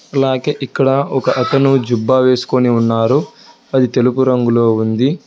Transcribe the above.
అలాగే ఇక్కడ ఒక అతను జుబ్బా వేసుకొని ఉన్నారు అది తెలుపు రంగులో ఉంది.